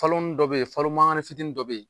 Faloni dɔ bɛ yen falo mankani fitini dɔ bɛ yen